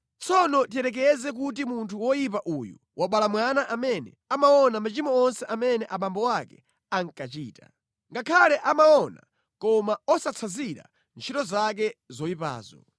“Tsono tiyerekeze kuti munthu woyipa uyu wabala mwana amene amaona machimo onse amene abambo ake ankachita. Ngakhale amaona koma osatsanzira ntchito zake zoyipazo.